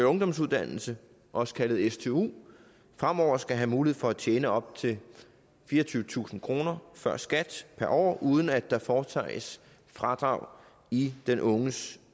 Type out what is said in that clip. ungdomsuddannelse også kaldet stu fremover skal have mulighed for at tjene op til fireogtyvetusind kroner før skat per år uden at der foretages fradrag i den unges